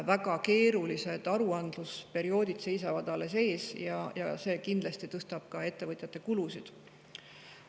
Väga keerulised aruandlusperioodid seisavad alles ees ja see kindlasti tõstab ka ettevõtjate kulusid.